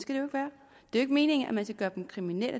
er jo ikke meningen at man skal gøre dem kriminelle